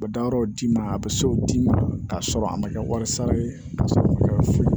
U bɛ da yɔrɔw d'i ma a bɛ se o d'i ma k'a sɔrɔ a ma kɛ wari sara ye ka sɔrɔ